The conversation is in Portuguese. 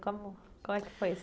Como é que foi isso? Como...